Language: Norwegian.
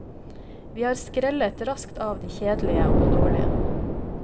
Vi skrellet raskt av de kjedelige og dårlige.